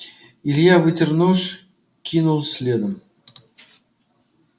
илья вытер нож кинул следом